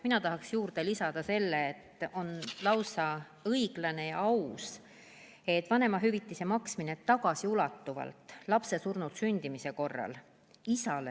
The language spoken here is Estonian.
Mina tahaks juurde lisada selle, et on lausa õiglane ja aus, et vanemahüvitise maksmine lapse surnult sündimise korral toimub tagasiulatuvalt.